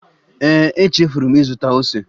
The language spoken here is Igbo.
Ee e, echefuru m ịzụta ose